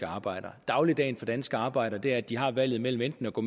arbejdere dagligdagen for danske arbejdere er at de har valget mellem enten at gå